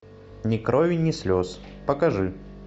ни крови ни слез покажи